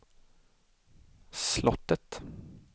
slottet